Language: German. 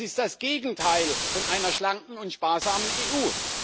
Das ist das Gegenteil einer schlanken und sparsamen EU.